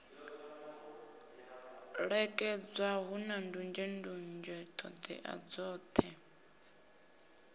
ṋekedzwa hu nandunzhendunzhe ṱhodea dzoṱhe